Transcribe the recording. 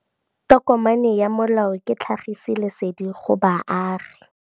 Tokomane ya molao ke tlhagisi lesedi go baagi.